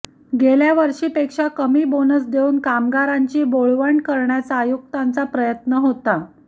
गेल्या वर्षीपेक्षा कमी बोनस देऊन कामगारांची बोळवण करण्याचा आयुक्तांचा प्रयत्न होता